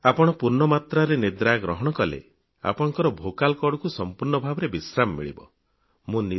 ଆପଣ ପୂର୍ଣ୍ଣ ମାତ୍ରାରେ ନିଦ୍ରା ଗ୍ରହଣ କଲେ ଆପଣଙ୍କୁ ସଂପୂର୍ଣ୍ଣ ରୂପେ ଫ୍ରେଶନେସ୍ ମିଳିବ ସତେଜ ଲାଗିବ